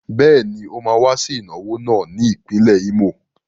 Bẹ́ẹ̀ ni, ó máa wá sí ìnáwó náà ní ìpínlẹ̀ Ímò.